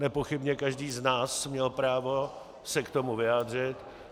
Nepochybně každý z nás měl právo se k tomu vyjádřit.